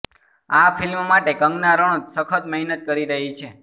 આ ફિલ્મ માટે કંગના રનૌત સખત મહેનત કરી રહી છે